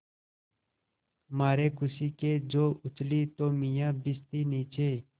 मारे खुशी के जो उछली तो मियाँ भिश्ती नीचे